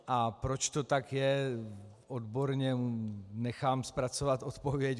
A proč to tak je, odborně nechám zpracovat odpověď.